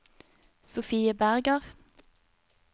Sofie Berger